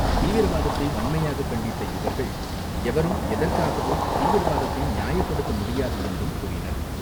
தீவிரவாத்தை வன்மையாக கண்டித்த இவர்கள் எவரும், எதற்காகவும் தீவிரவாதத்தை நியாயப்படுத்த முடியாது என்றும் கூறினர்.